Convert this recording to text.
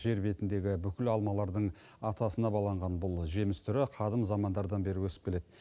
жер бетіндегі бүкіл алмалардың атасына баланған бұл жеміс түрі қадым замандардан бері өсіп келеді